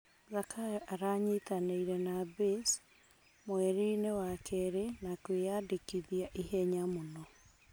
Zakayo aranyitanĩire na Baze mwerinĩ wa keri na kwi andĩkitha ihenya mũno.